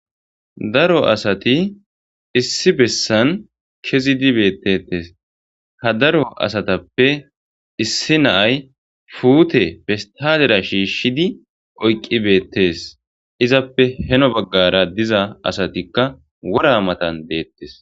Daro asati issi bessan kezidi beettetes ha daro asatappe issi naay fuute festadera shiishshidi oyqqi beettes izappe heno baggara diza asatikka wora matan deettes